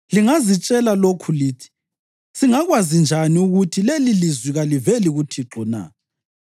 Lingazitshela lokhu lithi, ‘Singakwazi njani ukuthi lelilizwi kaliveli kuThixo na?’